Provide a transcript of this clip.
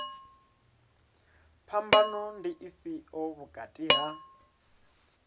phambano ndi ifhio vhukati ha